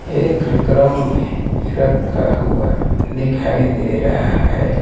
एक क्रम में रखा हुआ दिखाई दे रहा है।